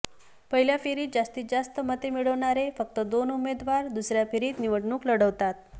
पहिल्या फेरीत जास्तीत जास्त मते मिळवणारे फक्त दोन उमेदवार दुसऱ्या फेरीत निवडणूक लढवतात